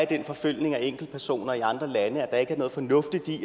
den forfølgelse af enkeltpersoner i andre lande altså at der ikke er noget fornuftigt i at